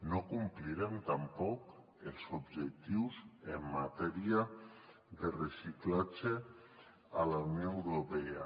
no complirem tampoc els objectius en matèria de reciclatge de la unió europea